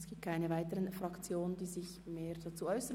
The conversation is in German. Es möchten sich keine weiteren Fraktionen dazu äussern.